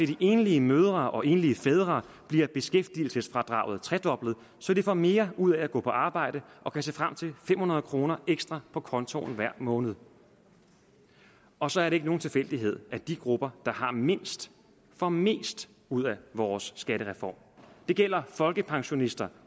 de enlige mødre og enlige fædre bliver beskæftigelsesfradraget tredoblet så de får mere ud af at gå på arbejde og kan se frem til fem hundrede kroner ekstra på kontoen hver måned og så er det ikke nogen tilfældighed at de grupper der har mindst får mest ud af vores skattereform det gælder folkepensionister